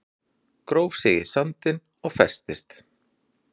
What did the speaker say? Gróf sig í sandinn og festist